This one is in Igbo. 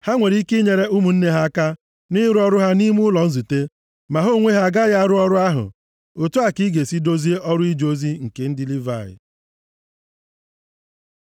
Ha nwere ike inyere ụmụnne ha aka nʼịrụ ọrụ ha nʼime ụlọ nzute, ma ha onwe ha agaghị arụ ọrụ ahụ. Otu a ka ị ga-esi dozie ọrụ ije ozi nke ndị Livayị.”